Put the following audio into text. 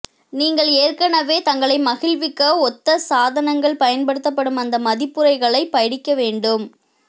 நீங்கள் ஏற்கனவே தங்களை மகிழ்விக்க ஒத்த சாதனங்கள் பயன்படுத்தப்படும் அந்த மதிப்புரைகளைப் படிக்க வேண்டும்